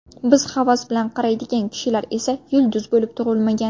Biz havas bilan qaraydigan kishilar esa yulduz bo‘lib tug‘ilmagan.